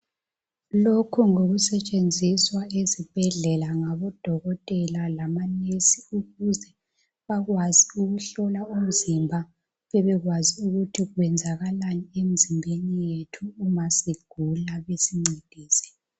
Lokhu ngokusetshenziswa ezibhedlela ngaboDokotela lama Nesi ukuze bakwazi ukuhlola umzimba, bebekwazi ukuthi kwenzakalani enzimbeni yethu ukuze basincedise ma sugula.